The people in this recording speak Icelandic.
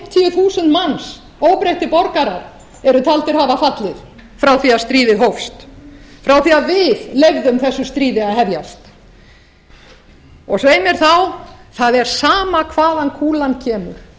þúsund manns óbreyttir borgarar eru talin hafa fallið frá því að stríðið hófst frá því að við leyfðum þessu stríði að hefjast svei mér þá það er sama hvaðan kúlan kemur